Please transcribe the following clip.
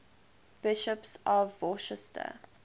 bishops of worcester